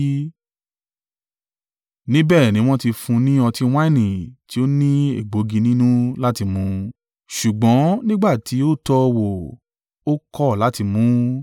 Níbẹ̀ ni wọn ti fún un ni ọtí wáìnì tí ó ní egbòogi nínú láti mu. Ṣùgbọ́n nígbà tí ó tọ́ ọ wò, ó kọ̀ láti mu ún.